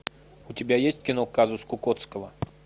у тебя есть кино казус кукоцкого